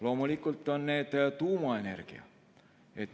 Loomulikult on see tuumaenergia.